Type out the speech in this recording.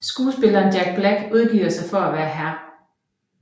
Skuespilleren Jack Black udgiver sig for at være Hr